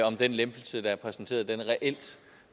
om den lempelse der er præsenteret reelt